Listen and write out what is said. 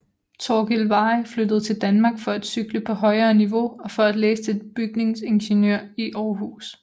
Torkil Veyhe flyttede til Danmark for at cykle på højere niveau og for at læse til bygningsingeniør i Århus